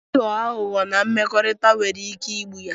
Ịghọ aghụghọ na mmekọrịta nwere ike igbu ya